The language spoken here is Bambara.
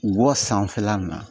Wɔ sanfɛla nin na